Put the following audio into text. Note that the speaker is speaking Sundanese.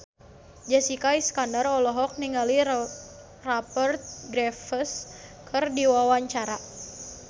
Jessica Iskandar olohok ningali Rupert Graves keur diwawancara